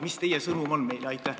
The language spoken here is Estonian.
Mis teie sõnum meile on?